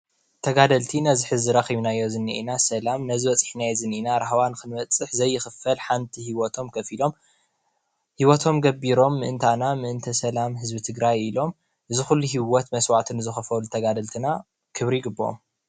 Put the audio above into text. ተጋደልቲ ነዚ ሐዚ ረኪብናዮ ዝኒአና ሰላም ነዚ ሓዚ ረኪብናዮ ዝኒአና ራህዋ ዘይክፈል ሓንቲ ሂወቶም ከፊሎም ምእንታና ምእንተሰላም ህዝቢ ትግራይ ኢሎም ዝኩሉ ሂወት ንዝከፈኩ ተጋደልትና ክብሪ ይግብኦም ።